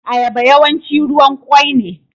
Ayaba yawanci ruwan kwoi ne.